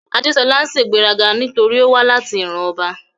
Adeṣọla ń ṣegberaga notori owa lati iran ọba